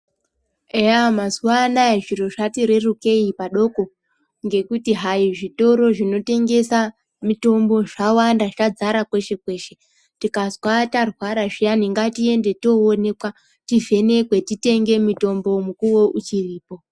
Eya mazuwanaya zviro zvati rerukei padoko ngekuti hai zvitoro zvinotengesa mitombo zvawanda zvadzara kweshe kweshe , tikazwa tarwara zviyani ngatiende toonekwa tivhenekwe titenge mitombo mukuwo uchiripo.